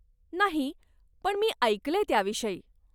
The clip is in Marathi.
नाही, पण मी ऐकलंय त्याविषयी.